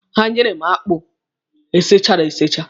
Ha nyere m akpụ e sichara esicha.